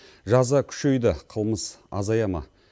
жаза күшейді қылмыс азая ма